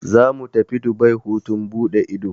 Zamu tafi Dubai hutun buɗe ido.